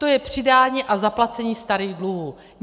To je přidání a zaplacení starých dluhů.